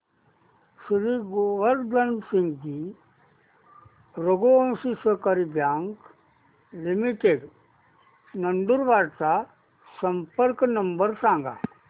श्री गोवर्धन सिंगजी रघुवंशी सहकारी bank limited Nandurbar चा संपर्क नंबर सांगा